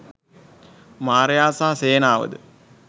මාරයා සහ සේනාවද